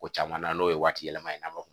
Ko caman na n'o ye waati yɛlɛma ye a ma